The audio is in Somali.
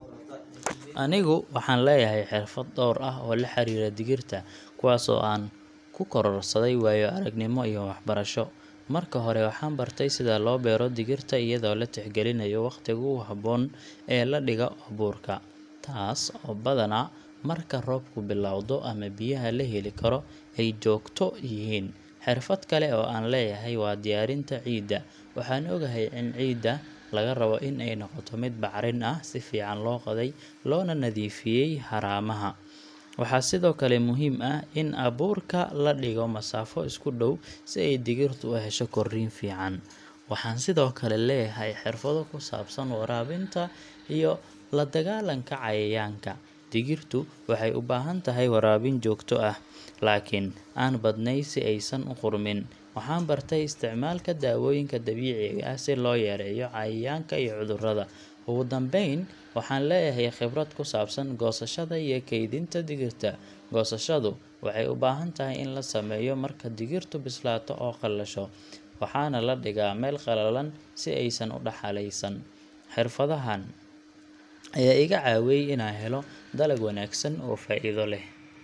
Anigu waxaan leeyahay xirfad dhowr ah oo la xiriira digirta, kuwaas oo aan ku kororsaday waayo-aragnimo iyo waxbarasho. Marka hore, waxaan bartay sida loo beero digirta iyadoo la tixgelinayo waqtiga ugu habboon ee la dhigo abuurka — taas oo badanaa ah marka roobku bilowdo ama biyaha la heli karo ay joogto yihiin. Xirfad kale oo aan leeyahay waa diyaarinta ciidda. Waxaan ogahay in ciidda laga rabo in ay noqoto mid bacrin ah, si fiican loo qoday, loona nadiifiyo haramaha. Waxaa sidoo kale muhiim ah in abuurka la dhigo masaafo isku dhow si ay digirtu u hesho korriin fiican. Waxaan sidoo kale leeyahay xirfado ku saabsan waraabinta iyo la dagaalanka cayayaanka. Digirtu waxay u baahan tahay waraabin joogto ah, laakiin aan badnayn si aysan u qudhmin. Waxaan bartay isticmaalka daawooyinka dabiiciga ah si loo yareeyo cayayaanka iyo cudurrada. Ugu dambayn, waxaan leeyahay khibrad ku saabsan goosashada iyo kaydinta digirta. Goosashadu waxay u baahan tahay in la sameeyo marka digirtu bislaato oo qalasho, waxaana la dhigaa meel qalalan si aysan u daxalaysan. Xirfadahaan ayaa iga caawiyay inaan helo dalag wanaagsan oo faa’iido leh.